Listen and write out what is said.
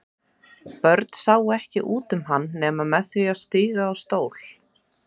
Börn sáu ekki út um hann nema með því að stíga á stól.